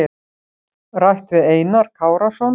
Rætt við Einar Kárason.